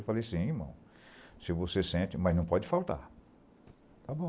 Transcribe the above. Eu falei assim, irmão, se você sente, mas não pode faltar, está bom.